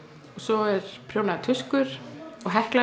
svo eru prjónaðar tuskur og